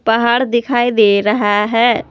पहाड़ दिखाई दे रहा है।